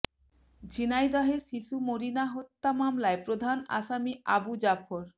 ঝিনাইদহে শিশু মনিরা হত্যা মামলার প্রধান আসামি আবু জাফর